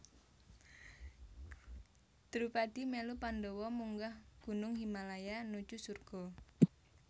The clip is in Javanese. Drupadi melu Pandhawa munggah gunung Himalaya nuju surga